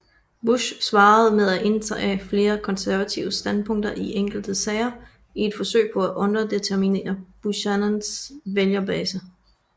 Bush svarede med at indtage mere konservative standpunkter i enkelte sager i et forsøg på at underminere Buchanans vælgerbase